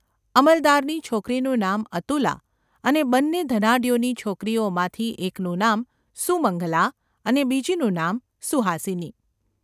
અમલદારની છોકરીનું નામ અતુલા અને બન્ને ધનાઢ્યોની છોકરીઓમાંથી એકનું નામ સુમંગલા અને બીજીનું નામ સુહાસિની.